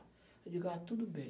Eu digo, ah, tudo bem.